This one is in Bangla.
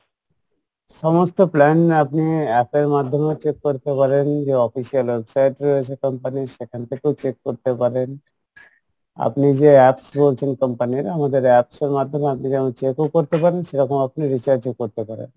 সমস্ত plan আপনি app এর মাধ্যমেও check করতে পারেন যে official website রয়েছে company ইর সেখান থেকেও check করতে পারেন আপনি যে apps রয়েছে company ইর আমাদের apps এর মাধ্যমে আপনি যেমন check ও করতে পারেন সেরকম আপনি recharge ও করতে পারেন